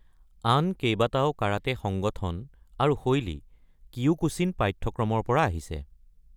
আন কেইবাটাও কাৰাটে সংগঠন আৰু শৈলী কিয়োকুশ্বিন পাঠ্যক্ৰমৰ পৰা আহিছে।